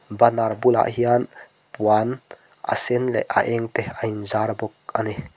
banner bulah hian puan a sen leh a eng te a inzar bawk a ni.